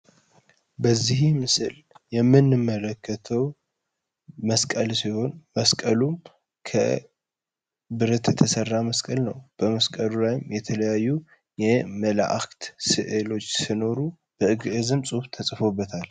በዚህ ምስል የምን መለከተው መስቀል ሲሆን መስቀሉም ከብረተተሰራ መስቀል ነው በመስቀሉ ራይም የተለያዩ የመለአክት ስዕሎች ስኖሩ በእግእዝም ጽብ ተጽፎበታል።